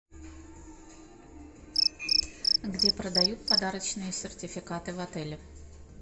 где продают подарочные сертификаты в отеле